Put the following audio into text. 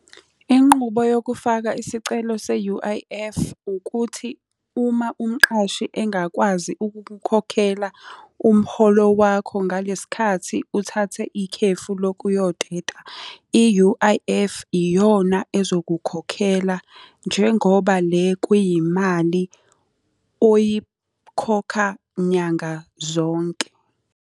Inqubo yokufaka isicelo se-U_I_F, ukuthi uma umqashi engakwazi ukukukhokhela umholo wakho ngalesi sikhathi uthathe ikhefu lokuyoteta, i-U_I_F iyona ezokukhokhela, njengoba le kuyimali oyikhokha nyanga zonke.